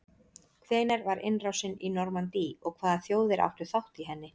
hvenær var innrásin í normandí og hvaða þjóðir áttu þátt í henni